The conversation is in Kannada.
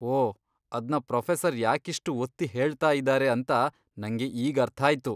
ಓ, ಅದ್ನ ಪ್ರೊಫೆಸರ್ ಯಾಕಿಷ್ಟು ಒತ್ತಿ ಹೇಳ್ತಾಯಿದಾರೆ ಅಂತ ನಂಗೆ ಈಗರ್ಥಾಯ್ತು.